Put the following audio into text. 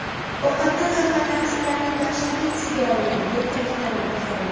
Ovqatdan zaharlanish ularning dahshatli tushiga aylandi, deb ta’kidlanadi xabarda.